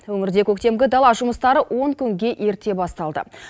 өңірде көктемгі дала жұмыстары он күнге ерте басталды